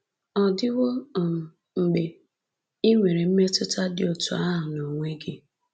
Ọ̀dịwo um mgbe i nwere mmetụta dị otú ahụ n’onwe gị?